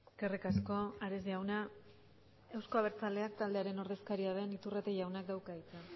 eskerrik asko ares jauna euzko abertzaleak taldearen ordezkaria den iturrate jaunak dauka hitza